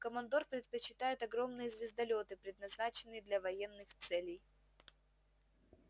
командор предпочитает огромные звездолёты предназначенные для военных целей